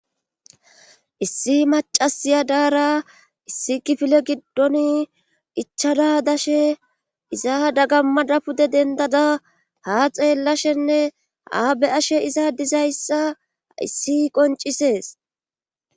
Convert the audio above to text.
Issi macasiya daara issi gifile giddon ichada dashe iza dagammadapude dendada ha xeellashenne aabe ashe izadizayssa issi qoncisees.